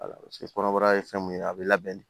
kɔnɔbara ye fɛn mun ye a bi labɛn de